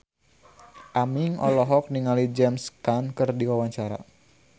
Aming olohok ningali James Caan keur diwawancara